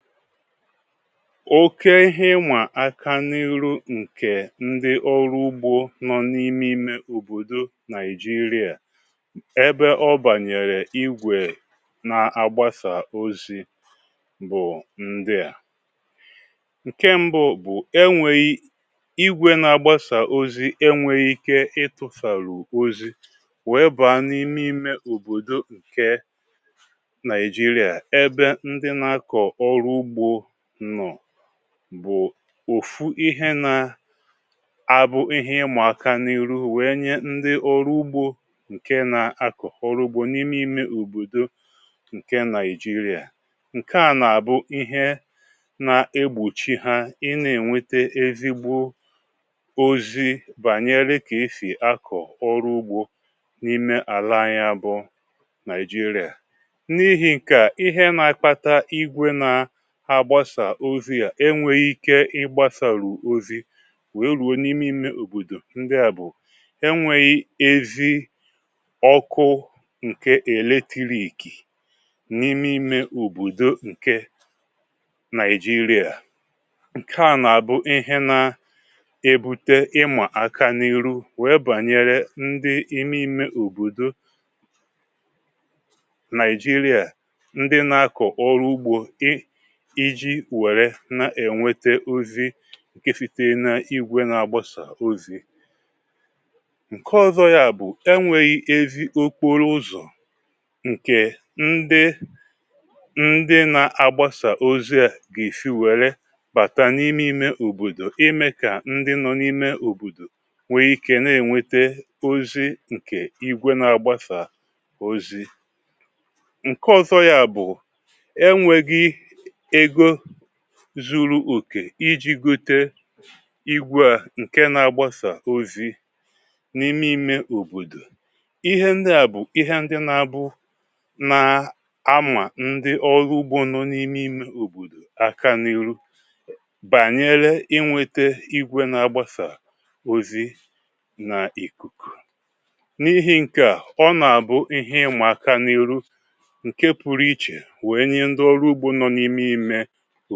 Ọ̀ke ihe ịma aka n’irụ nke ndị ọrụ ụgbọ nọ n’ime ime ọ̀bọ̀dọ̀ Naịjirịa. Ebe ọ banyere igwe n’agbasa ọzi bụ̀ ndịa. Nke mbụ bụ̀ enweghi igwe na-agbasa ọzi enweghi ike ịtụ̇sarụ̀ ọzi wee ba n’ime ime ọ̀bọ̀dọ̀ nke Naịjirịa ebe ndị na akọ ọrụ ụgbọ nọ bụ̀ ọ̀fụ ihe na-abụ̀ ihe ịmaka n’irụ wee nye ndị ọrụ ụgbọ nke na-akọ̀ ọrụ ụgbọ n’ime ime ọ̀bọ̀dọ̀ nke Naịjirịa. Nkea na a bụ̀ ihe na-egbọ̀chi ha ị na-enweta ezigbọ ọzi banyere ka esì akọ̀ ọrụ ụgbọ n’ime ala ihe anyị a bụ Naịjirịa. N’ihi̇ nke a, ihe na akapta igwe na agbasa ọzi a enweghi ike ị gbasarụ ọzi̇ wee rụọ̀ n’ime ime ọ̀bọ̀dọ̀ ndịa bụ̀ enweghi̇ ezi ọkụ̇ nke eletirik n’ime ime ọ̀bọ̀dọ̀ nke Naịjirịa. Nke a na-abụ ihe na-ebụte ịma aka n’irụ wee banyere ndị ime ime ọ̀bọ̀dọ̀ Naịjirịa ndị na-akọ̀ ọrụ ụgbọ i iji were na-enwete ọzi nke sitere na igwe na-agbasa ọzi. Nke ọzọ ya bụ̀ enweghi̇ ezi ọkpọrọ ụzọ̀ nke ndị ndị na-agbasa ọzi a ge-esi were bata n’ime ime ọ̀bọ̀dọ̀ ime ka ndị nọ n’ime ọ̀bọ̀dọ̀ nwee ike na-enwete ọzi nke igwe na-agbasa ọzi. Nke ọzọ ya bụ̀ enwegi egọ zu̇ru̇ ọ̀ke iji̇ gọte igwe a nke na-agbasa ọ̀zi n’ime ìme ọ̀bọ̀dọ̀. Ihe ndị a bụ̀ ihe ndị na-abụ na-ama ndị ọ̀lụ̇ ụgbọ nọ̇ n’ime ìme ọ̀bọ̀dọ̀ aka n’irụ banyere inwete igwe na-agbasa ọ̀zi na ìkùkù n’ihi̇ nke a ọ na-abụ ihe ị̇ma aka n’irụ nke pụrụ iche wee nye ndị ọrụ ụgbọ nọ n’ime ime